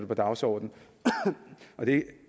på dagsordenen og det er